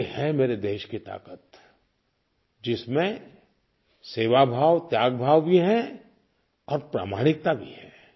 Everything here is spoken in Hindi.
ये है मेरे देश की ताक़त जिसमें सेवाभाव त्यागभाव भी है और प्रामाणिकता भी है